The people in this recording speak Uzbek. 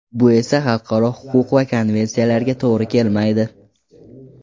Bu esa xalqaro huquq va konvensiyalarga to‘g‘ri kelmaydi.